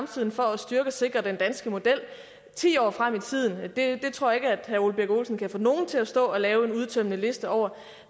til for at styrke og sikre den danske model ti år frem i tiden tror jeg ikke at herre ole birk olesen kan få nogen til at stå og lave en udtømmende liste over